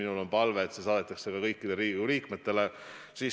Mul on palve, et see saadetakse ka kõikidele Riigikogu liikmetele.